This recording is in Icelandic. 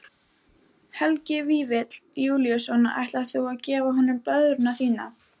Helgi Vífill Júlíusson: Ætlar þú að gefa honum blöðruna þína?